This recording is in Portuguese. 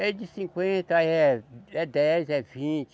É de cinquenta, eh, é dez, é vinte.